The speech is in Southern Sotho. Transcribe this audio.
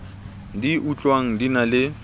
di utlwang di na le